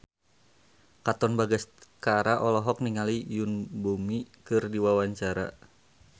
Katon Bagaskara olohok ningali Yoon Bomi keur diwawancara